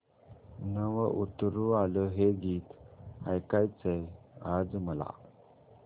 नभं उतरू आलं हे गीत ऐकायचंय आज मला